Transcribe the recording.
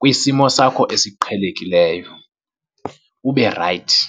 kwisimo sakho esiqhelekileyo, ube rayithi.